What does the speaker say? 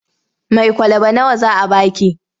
Mai kwalaba nawa za a ba ki?